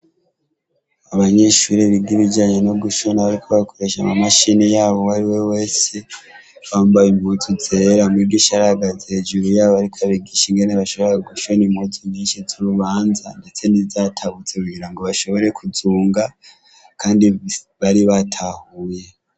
Abanyeshure biga ibijanye no gushona bariko bakoresha amamashini yabo uwari we wese, bambaye impuzu zera mwigisha yari ahagaze hejuru yabo ariko abigisha ingene bashobora gushona impuzu z'urubanza, n'izindi zatabutse kugira ngo bashobore kuzunga, kandi bari batahuye.